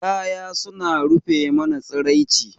Kaya suna rufe mana tsiraici.